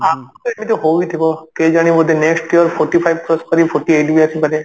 କିନ୍ତୁ ହଉଥିବ କେଜାଣି ବୋଧେ next year forty five cross କରିକି forty eight ବି ଆସିପାରେ